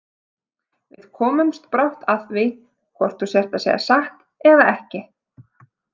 Við komumst brátt að því hvort þú sért að segja satt eða ekki